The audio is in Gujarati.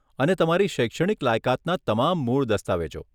અને તમારી શૈક્ષણિક લાયકાતના તમામ મૂળ દસ્તાવેજો.